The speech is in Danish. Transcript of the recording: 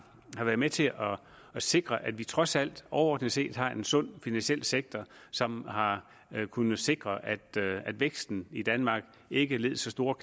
har været med til at sikre at vi trods alt overordnet set har en sund finansiel sektor som har kunnet sikre at væksten i danmark ikke led så stort